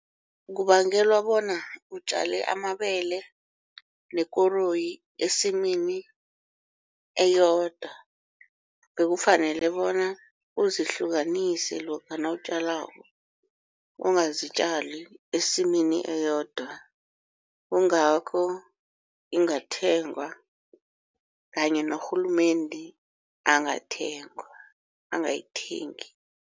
Kubangelwa bona utjale amabele nekoroyi esimini eyodwa bekufanele bona uzihlukanise lokha nawutjalako ungazitjali esimini eyodwa kungakho ingathengwa kanye norhulumende angayithengi